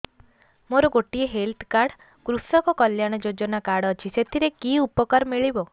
ମୋର ଗୋଟିଏ health card କୃଷକ କଲ୍ୟାଣ ଯୋଜନା କାର୍ଡ ଅଛି ସାଥିରେ କି ଉପକାର ମିଳିବ